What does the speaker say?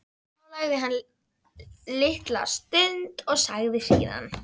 Þá þagði hann litla stund og sagði síðan